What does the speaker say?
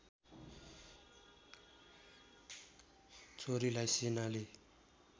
छोरीलाई सेनाले